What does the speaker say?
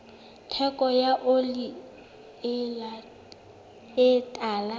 theko ya oli e tala